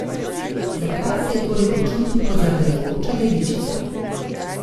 Zakaj se je torej počutil kot zardevajoča devičica?